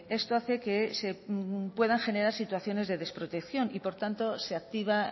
esto hace que se puedan generar situaciones de desprotección y por tanto se activa